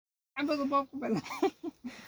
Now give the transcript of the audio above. Sidee loo daweyn karaa cholesteatomaka?